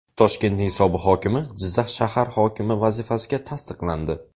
Toshkentning sobiq hokimi Jizzax shahar hokimi vazifasiga tasdiqlandi.